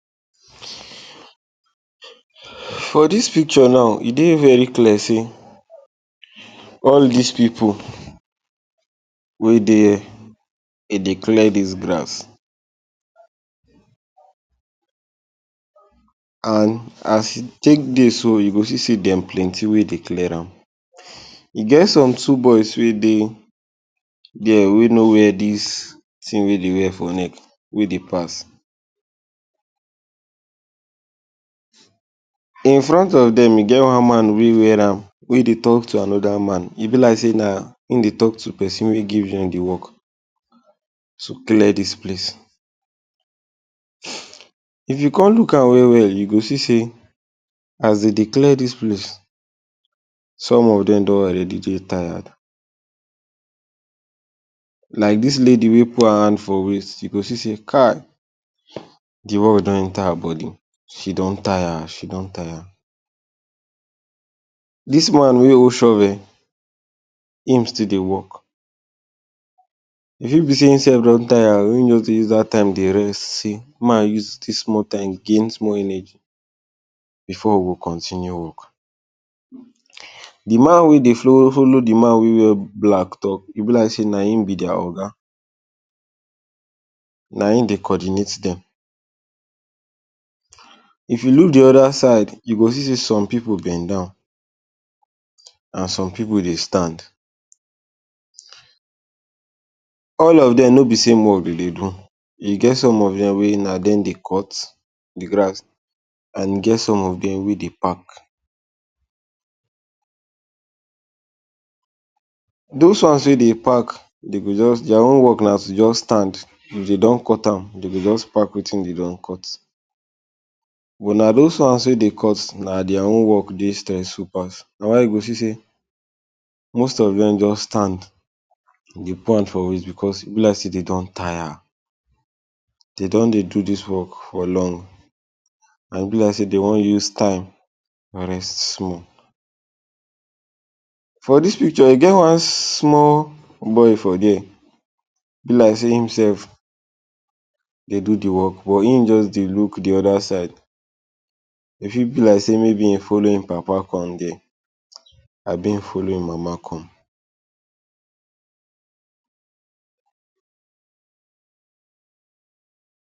For dis picture now e dey very clear sey all dis pipu wey dey here, dem dey clear dis grass. And as e take dey so you go see sey dem plenty wey dey clear am. E get some two boys wey dey there wey no wear dis thing wey dey wear for neck wey dey pass. Infront of dem e get one man wey wear am wey dey talk to another man. E be like sey na im dey talk to person wey give him dey work to clear dis place. If you come look am well well you go see sey as dem dey clear dis place some of dem don already dey tired. Like dis lady wey put her hand for waist you go see sey Kai de work don enter her body. She don tire she don tire. Dis one wey hold shovel, im still dey work. E fit be sey im sef don tire, im just dey use dat time dey rest, say “make I use dis small time gain small energy before we go continue work”. De man wey dey follow de man wey wear black talk, e be like sey na im be their oga, na im dey coordinate dem. If you look de other side you go see sey some pipu bend down and some pipu dey stand. All of dem no be same work dey dey do, e get some of dem wey na dem dey cut de grass and e get some of dem wey dey pack. Those ones wey dey pack dey go just their own work na to just stand if dey just cut am dey go just pack wetin dey don cut. But na dis ones wey dey cut their own work dey stressful pass. Na why you go see sey most of dem just stand dey put hand for waist because e be like sey dey don tire. Dey don dey do dis work for long and e be like sey dey wan use style and rest small. For dis picture e get one small boy for there be like sey him sef dey do de work but just dey look de other side. E fit be like sey maybe he follow im papa come there abi im follow im mama come.